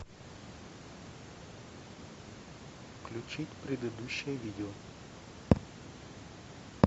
включить предыдущее видео